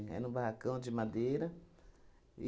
Era um barracão de madeira.